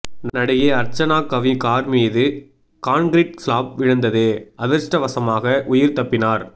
நடிகை அர்ச்சனாகவி கார்மீது concrete slab விழுந்தது அதிர்ஷ்டவசமாக உயிர் தப்பினார்